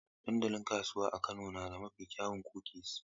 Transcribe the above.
Dandalin kasuwa a Kano na da mafi kyawun kukis.